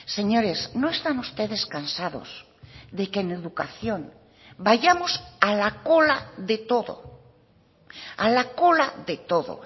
señores no están ustedes cansados de que en educación vayamos a la cola de todo a la cola de todo